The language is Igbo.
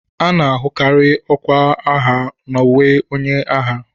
A na-ahụkarị ọkwa agha n'uwe onye agha